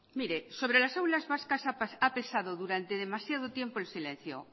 mire sobre las aulas vascas ha pesado durante demasiado tiempo el silencio